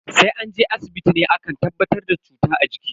Sai an je asibiti ne ake tabbatar da cuta a jiki.